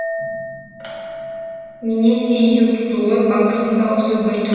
менен де екеу туды ғой батырдың дауысы бір түр